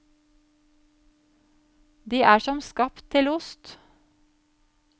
De er som skapt til ost.